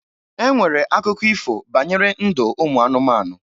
E nwere akụkọ ifo banyere ndụ ụmụ anụmanụ